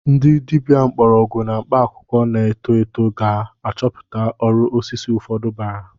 Ndị dibịa mgbọrọgwụ na mkpaakwụkwọ na-eto eto ka ga-achọpụta uru osisi ụfọdụ bara.